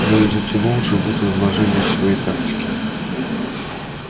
ну и затянул же вуд изложение своей тактики